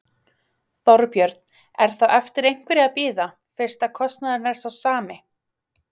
Þorbjörn: Er þá eftir einhverju að bíða, fyrst að kostnaðurinn er sá sami?